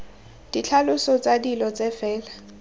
ditlhaloso tsa dilo tse fela